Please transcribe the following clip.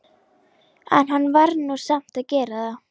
En hann varð nú samt að gera það.